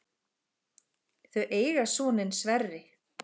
Þau eiga soninn Sverri.